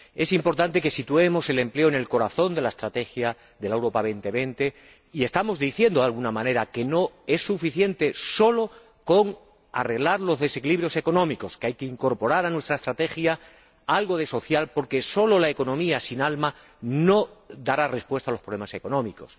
Es importante que situemos el empleo en el corazón de la estrategia Europa 2020 y estamos diciendo de alguna manera que no es suficiente con arreglar los desequilibrios económicos, sino que hay que incorporar a nuestra estrategia una vertiente social porque la sola economía sin alma no dará respuesta a los problemas económicos.